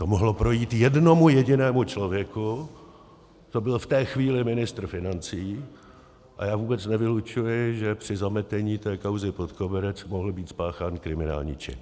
To mohlo projít jednomu jedinému člověku, to byl v té chvíli ministr financí, a já vůbec nevylučuji, že při zametení té kauzy pod koberec mohl být spáchán kriminální čin.